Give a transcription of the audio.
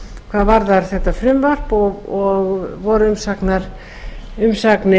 hvað varðar þetta frumvarp og voru umsagnir